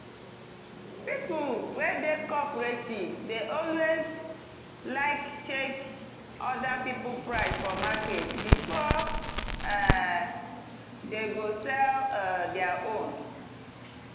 people we dey cooperative dey alway like check other people price for market before um dem go sell um dia own.